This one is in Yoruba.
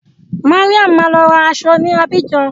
Mariam máa lọ ra aṣọ ní Abidjan.